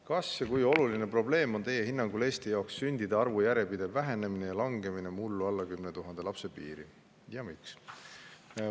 "Kas ja kui oluline probleem on Teie hinnangul Eesti jaoks sündide arvu järjepidev vähenemine ja langemine mullu alla 10 000 lapse piiri ja miks?